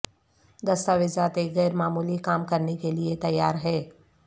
دستاویزات ایک غیر معمولی کام کرنے کے لئے تیار ہے